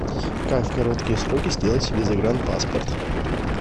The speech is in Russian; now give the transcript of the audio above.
как в короткие сроки сделать себе загранпаспорт